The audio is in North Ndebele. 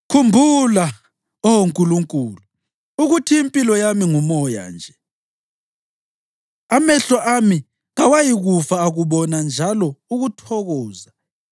Khumbula, Oh Nkulunkulu, ukuthi impilo yami ngumoya nje; amehlo ami kawayikufa akubona njalo ukuthokoza.